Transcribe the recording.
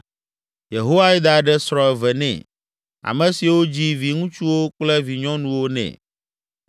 Yehoiada ɖe srɔ̃ eve nɛ, ame siwo dzi viŋutsuwo kple vinyɔnuwo nɛ.